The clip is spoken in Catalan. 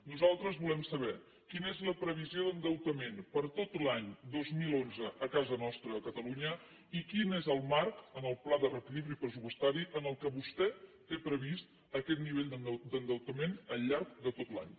nosaltres volem saber quina és la previsió d’endeutament per a tot l’any dos mil onze a casa nostra a catalunya i quin és el marc en el pla de reequilibri pressupostari en què vostè té previst aquest nivell d’endeutament al llarg de tot l’any